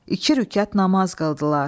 İki rükət namaz qıldılar.